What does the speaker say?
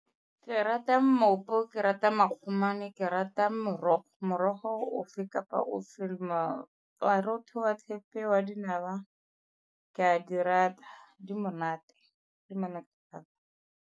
Ke rata mmopo, ke rata makgomane, ke rata morogo. Morogo ofe kapa ofe wa roto, wa thepe, wa dinawa, ke a di rata, di monate le monate thata.